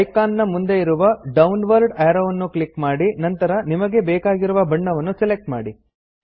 icon ನ ಮುಂದೆ ಇರುವ ಡೌನ್ವರ್ಡ್ ಅರೋವ್ ನ್ನು ಕ್ಲಿಕ್ ಮಾಡಿ ನಂತರ ನಿಮಗೆ ಬೇಕಾಗಿರುವ ಬಣ್ಣವನ್ನು ಸೆಲೆಕ್ಟ್ ಮಾಡಿ